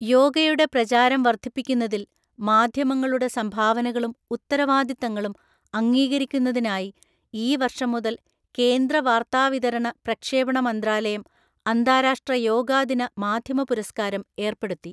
യോഗയുടെ പ്രചാരം വര്ദ്ധിപ്പിക്കുന്നതില്‍ മാധ്യമങ്ങളുടെ സംഭാവനകളും ഉത്തരവാദിത്തങ്ങളും അംഗീകരിക്കുന്നതിനായി ഈ വര്‍ഷം മുതല്‍ കേന്ദ്ര വാര്ത്താവിതരണ പ്രക്ഷേപണ മന്ത്രാലയം അന്താരാഷ്ട്ര യോഗാ ദിന മാധ്യമ പുരസ്കാരം ഏര്‍പ്പെടുത്തി.